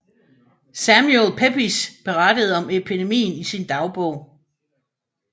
Samuel Pepys berettede om epidemien i sin dagbog